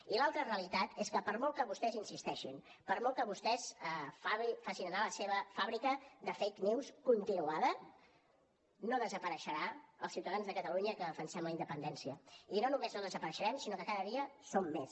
i l’altra realitat és que per molt que vostès insisteixin per molt que vostès facin anar la seva fàbrica de fake newscontinuada no desapareixeran els ciutadans de catalunya que defensem la independència i no només no desapareixerem sinó que cada dia som més